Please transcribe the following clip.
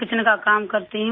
رسوئی کا کام کرتی ہوں